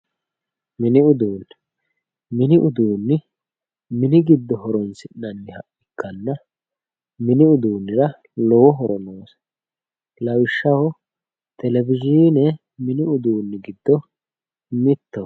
mini uduunne mini uduunne mini giddo horoonsi'neemmoha ikkanna mini uduunnira lowo horo noosi lawishshaho televisione mini uduunni giddo mittoho